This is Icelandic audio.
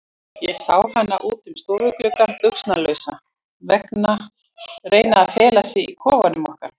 Ég sá hana út um stofugluggann, buxnalausa, reyna að fela sig í kofanum okkar.